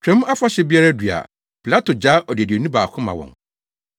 Twam Afahyɛ biara du a Pilato gyaa odeduani baako ma wɔn.